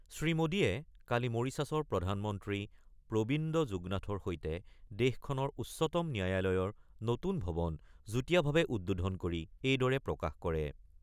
শ্ৰী মোডীয়ে কালি মৰিছাছৰ প্ৰধানমন্ত্ৰী প্ৰবিন্দ যুগনাথৰ সৈতে দেশখনৰ উচ্চতম ন্যায়ালয়ৰ নতুন ভৱন যুটীয়াভাৱে উদ্বোধন কৰি এইদৰে প্ৰকাশ কৰে।